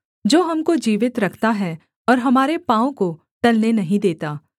जो हमको जीवित रखता है और हमारे पाँव को टलने नहीं देता